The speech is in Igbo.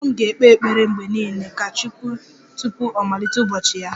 Mama m ga-ekpe ekpere mgbe niile ka 'chineke' tupu ọ malite ụbọchị ya